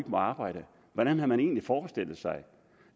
må arbejde hvordan har man egentlig forestillet sig